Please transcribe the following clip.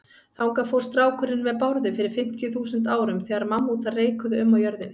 Þangað fór strákurinn með Bárði fyrir fimmtíu þúsund árum, þegar mammútar reikuðu um á jörðinni.